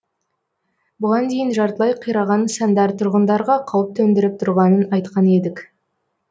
бұған дейін жартылай қираған нысандар тұрғындарға қауіп төндіріп тұрғанын айтқан едік